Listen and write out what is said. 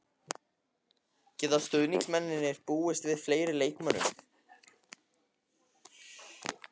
Geta stuðningsmennirnir búist við fleiri leikmönnum?